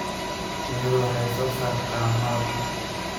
Shinnidu waxay soo saartaa malab.